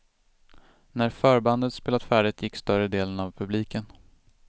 När förbandet spelat färdigt gick större delen av publiken.